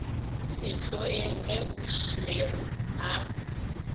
sehloeng ge ausi mary a